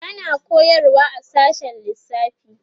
tana koyarwa a sashen lissafi